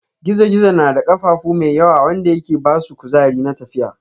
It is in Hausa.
gizo-gizo na da kafafu mai yawa wanda yake basu kuzari na tafiya.